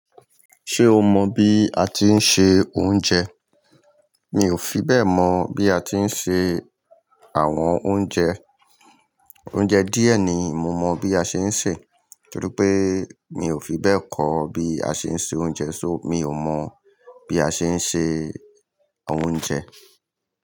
Ṣé o mọ bí a tí ń se oúnjẹ? Mi ò fi bẹ́ẹ̀ mọ̀ bí a ti ń ṣe àwọn oúnjẹ. Oúnjẹ díẹ̀ ni mo mọ bí a ṣe ń sè, torí pé mi ò fi bẹ́ẹ̀ kọ́ bí a ṣe ń se oúnjẹ, só mi ò mọ̀ bí a ṣe ń ṣe oúnjẹ.